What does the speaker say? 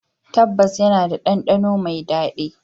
Tabbas, yana da ɗandano mai daɗi.